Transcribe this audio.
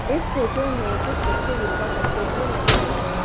इस फोटो में कुछ बच्चे योगा करते हुए नजर आ रहे हैं।